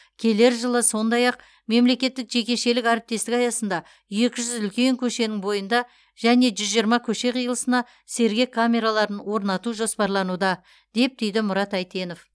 келер жылы сондай ақ мемлекеттік жекешелік әріптестік аясында екі жүз үлкен көшенің бойында және жүз жиырма көше қиылысына сергек камераларын орнату жоспарлануда деп түйді мұрат әйтенов